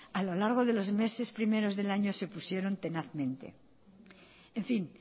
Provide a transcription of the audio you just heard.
a lo largo de los meses primeros del año se opusieron tenazmente en fin